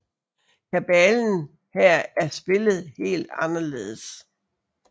Kabalen Her er spillet helt anderledes